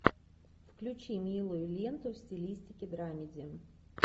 включи милую ленту в стилистике драмеди